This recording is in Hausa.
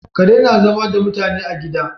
Kare na zama da mutane a gida